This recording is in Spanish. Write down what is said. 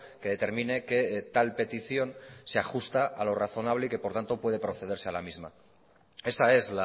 que determine que tal petición se ajusta a lo razonable y que por tanto puede procederse a la misma esa es